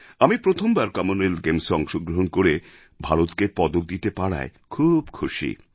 আমি প্রথমবার কমনওয়েলথ গেমসে অংশ গ্রহণ করে ভারতকে পদক দিতে পারায় খুব খুশি